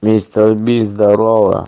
мистер би здорова